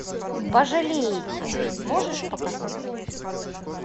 пожалейте можешь показать